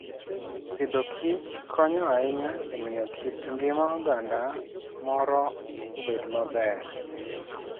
Agriculture and Foodkonyo ahinya e miyo kit ngima oganda moro obed maber.